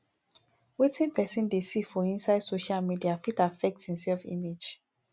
wetin person dey dey see for inside social media fit affect im self image